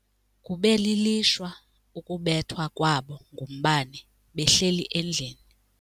Kube lilishwa ukubethwa kwabo ngumbane behleli endlini.